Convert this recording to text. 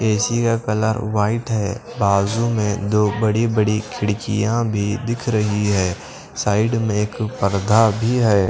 AC का colour white है बाजू में दो बड़ी-बड़ी खिड़कियां भी दिख रही है साइड में एक पर्दा भी है।